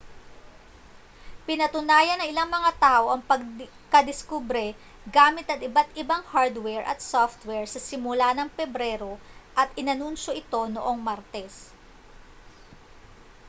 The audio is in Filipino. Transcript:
pinatunayan ng ilang mga tao ang pagkadiskubre gamit ang iba't ibang hardware at software sa simula ng pebrero at inanunsiyo ito noong martes